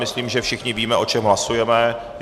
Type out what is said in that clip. Myslím, že všichni víme, o čem hlasujeme.